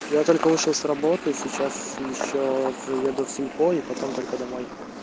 я только вышел с работы сейчас ещё заеду в сельпо и потом только домой